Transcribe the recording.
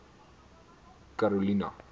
karolina